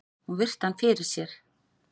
Hún virti hann fyrir sér.